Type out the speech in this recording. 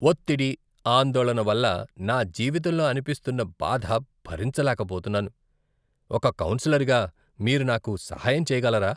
ఒత్తిడి, ఆందోళన వల్ల నా జీవితంలో అనిపిస్తున్న బాధ భరించలేకపోతున్నాను, ఒక కౌన్సిలర్గా, మీరు నాకు సహాయం చేయగలరా?